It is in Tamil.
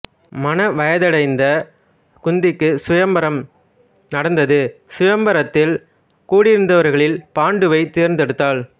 மண வயதையடைந்த குந்திக்கு சுயம்வரம் நடந்தது சுயம்வரத்தில் கூடியிருந்தவர்களில் பாண்டுவை தேர்ந்தெடுத்தாள்